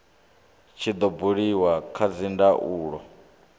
tshi do buliwa kha dzindaulo